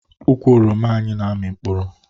Ukwu oroma anyị na-amị mkpụrụ